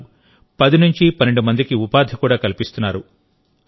వారు 1012 మందికి ఉపాధి కూడా కల్పిస్తున్నారు